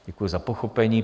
Děkuji za pochopení.